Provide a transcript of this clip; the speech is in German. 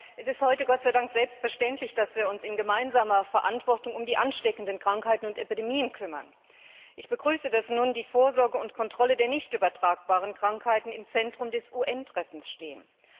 Es ist heute Gott sei Dank selbstverständlich, dass wir uns in gemeinsamer Verantwortung um ansteckende Krankheiten und Epidemien kümmern. Ich begrüße es, dass nun die Vorsorge und Kontrolle von nicht übertragbaren Krankheiten im Mittelpunkt des UN Treffens stehen.